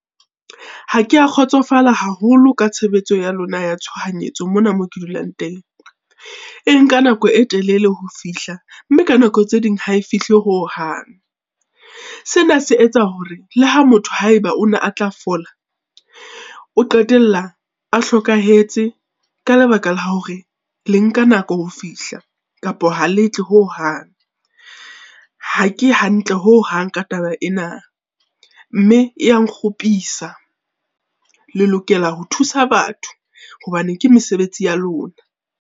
Ha ke a kgotsofala haholo ka tshebetso ya lona ya tshohanyetso mona moo ke dulang teng. E nka nako e telele ho fihla, mme ka nako tse ding ha e fihle hohang. Sena se etsa hore le ha motho haeba o na a tla fola, o qetella a hlokahetse ka lebaka la hore le nka nako ho fihla kapa ha le tle hohang. Ha ke hantle hohang ka taba ena, mme e ya nkgopisa, le lokela ho thusa batho hobane ke mesebetsi ya lona.